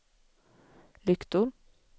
lyktor